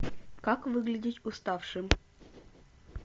как выглядеть уставшим